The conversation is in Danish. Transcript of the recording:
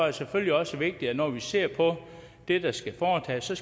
det selvfølgelig også vigtigt når vi ser på det der skal foretages at